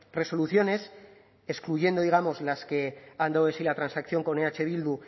resoluciones excluyendo digamos las que han dado de sí la transacción con eh bildu